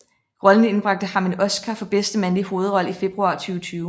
Rollen indbragte ham en Oscar for bedste mandlige hovedrolle i februar 2020